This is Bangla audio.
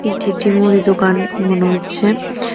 এটি একটি মুদিদোকান মনে হচ্ছে।